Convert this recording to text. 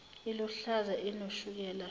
iluhlaza inoshukela shono